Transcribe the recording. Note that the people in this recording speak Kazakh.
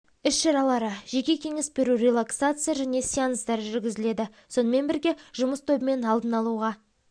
іс-шаралары жеке кеңес беру релаксация және сеанстар жүргізіледі сонымен бірге жұмыс тобымен алдын алуға